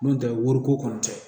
N'o tɛ woroko kɔni tɛ